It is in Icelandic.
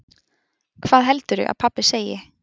hvað heldurðu að pabbi segi.